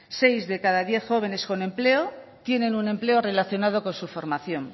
seis de cada diez jóvenes como empleo tienen un empleo relacionado con su formación